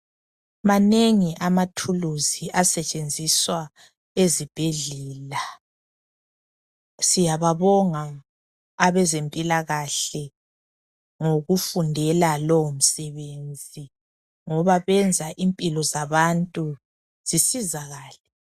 manengi amathulusi asetshenziswa ezibhedlela siyababonga abezempilakahle ngokufundela lowo msebenzi ngoba benza impilo zabantu zisizakale